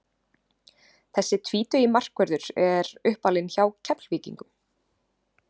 Þessi tvítugi markvörður er uppalinn hjá Keflvíkingum.